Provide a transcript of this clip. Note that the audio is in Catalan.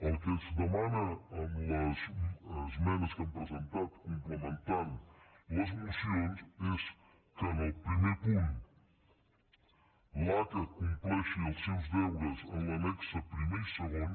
el que es demana en les esmenes que hem presentat complementant les mocions és que en el primer punt l’aca compleixi els seus deures en l’annex primer i segon